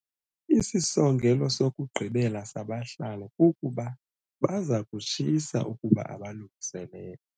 Isisongelo sokugqibela sabahlali kukuba baza kutshisa ukuba abalungiselelwa.